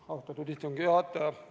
Austatud istungi juhataja!